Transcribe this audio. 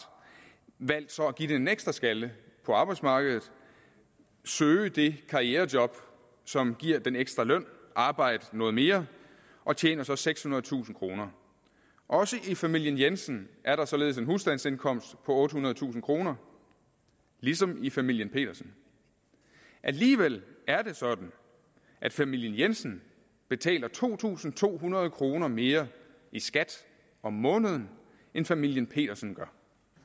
så valgt at give den en ekstra skalle på arbejdsmarkedet søge det karrierejob som giver den ekstra løn arbejde noget mere og tjener så sekshundredetusind kroner også i familien jensen er der således en husstandsindkomst på ottehundredetusind kroner ligesom i familien petersen alligevel er det sådan at familien jensen betaler to tusind to hundrede kroner mere i skat om måneden end familien petersen gør